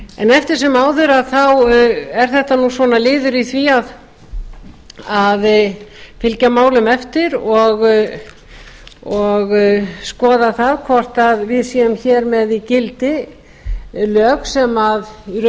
eftir sem áður er þetta liður í því að fylgja málum eftir og skoða hvort við séum hér með í gildi lög sem í raun og veru